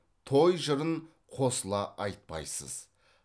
той жырын қосыла айтпайсыз